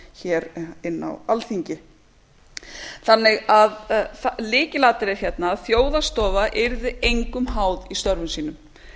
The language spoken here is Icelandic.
að hér inni á alþingi lykilatriðið hérna er að þjóðhagsstofa yrði engum háð í störfum sínum